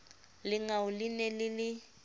lengau le ne le le